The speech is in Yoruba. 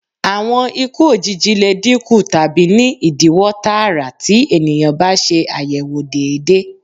Awọn iku ojiji le dinku tabi ni idiwọ taara ti eniyan ba ṣe ayẹwo deede